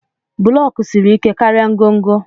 Buloku siri ike karịa ngọngọ.